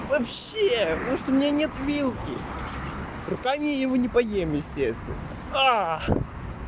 вообще может у меня нет вилки руками я его не поем естественно